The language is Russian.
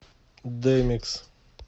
дэмикс